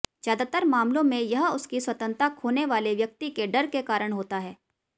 ज्यादातर मामलों में यह उसकी स्वतंत्रता खोने वाले व्यक्ति के डर के कारण होता है